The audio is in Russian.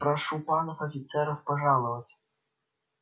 прошу панов офицеров пожаловать